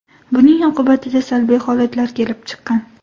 Buning oqibatida salbiy holatlar kelib chiqqan.